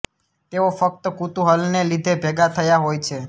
તેઓ ફક્ત કુતૂહલને લીધે ભેગા થયા હોય છે